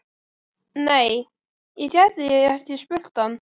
Nei, ég gæti ekki spurt hann.